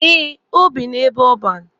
Eh, o bi n'ebe ọban.